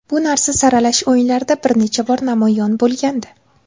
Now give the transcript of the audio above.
Bu narsa saralash o‘yinlarida bir necha bor namoyon bo‘lgandi.